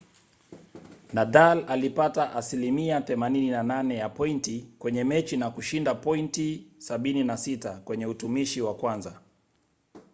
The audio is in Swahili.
nadal alipata 88% ya pointi kwenye mechi na kushinda pointi 76 kwenye utumishi wa kwanza